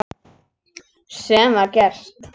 Sem var gert.